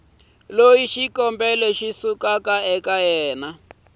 loyi xikombelo xa yena xa